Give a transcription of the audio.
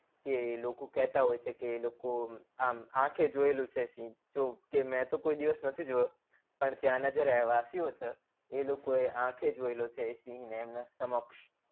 કે લોકો કેતા હોય છે કે લોકો આમ આખે જોયેલું છે સિંહ મેં તો કોઈ દિવસ નથી જોયો પણ ત્યાના જે રહેવાસીયો છે એ લોકો આંખો જોયેલો છે એ સિંહ ને એમના સમક્ષ